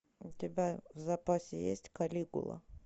у тебя в запасе есть калигула